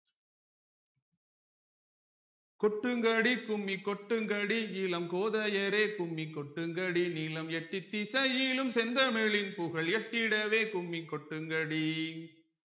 கொட்டுங்கடி கும்மி கொட்டுங்கடி இளம் கோதையரே கும்மி கொட்டுங்கடி நிலம் எட்டித்திசையிலும் செந்தமிழின் புகழ் எட்டிடவே கும்மி கொட்டுங்கடி